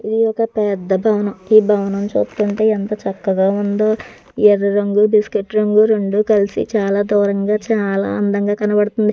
ఇది ఒక పెద్ద భవనం ఈ భవనం చూస్తుంటే ఎంత చక్కగా ఉందో ఎర్ర రంగు బిస్కెట్ రంగు రెండు కలిసి చాలా దూరంగా చాలా అందంగా కనబడుతుంది.